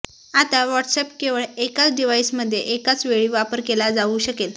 आता व्हॉट्सअॅप केवळ एकाच डिव्हाइसमध्ये एकाच वेळी वापर केला जावू शकेल